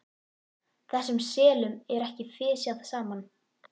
Þessum selum er ekki fisjað saman.